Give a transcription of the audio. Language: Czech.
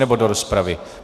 Nebo do rozpravy.